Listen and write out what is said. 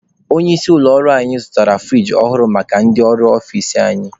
Onye isi ụlọ ọrụ anyị zụtara furigi ọhụrụ maka ndị ọrụ ọfici anyị.